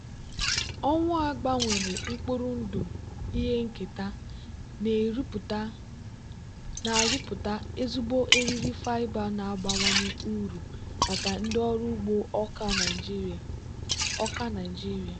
owu a gbanwere mkpụrụ ndụ ihe nketa na-arụpụta ezigbo eriri fiber na-abawanye uru maka ndị ọrụ ugbo akwa nigeria.